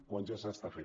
quan ja s’està fent